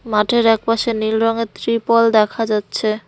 মাঠের একপাশে নীল রঙের ত্রিপল দেখা যাচ্ছে।